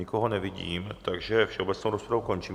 Nikoho nevidím, takže všeobecnou rozpravu končím.